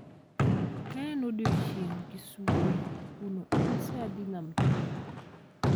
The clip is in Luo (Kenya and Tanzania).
Kaen odiechieng kisumo kuno en saa adi nam chumbi